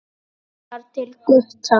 Hugsar til Gutta.